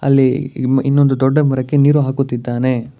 ಇಲ್ಲಿ ಇನ್ನೊಂದು ದೊಡ್ಡ ಮರಕ್ಕೆ ನೀರು ಹಾಕುತ್ತಿದ್ದಾನೆ.